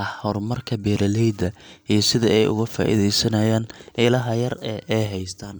ah horumarka beeraleyda iyo sida ay uga faa’iideysanayaan ilaha yar ee ay haystaan.